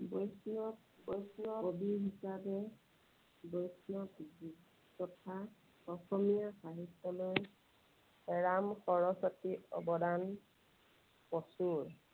বৈষ্ণৱ বৈষ্ণৱ কবি হিচাপে বৈষ্ণৱ তথা অসমীয়া সাহিত্যলৈ ৰাম সৰস্বতীৰ অৱদান প্ৰচুৰ।